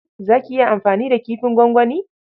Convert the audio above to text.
Za ki iya amfani da kifin gwangwani?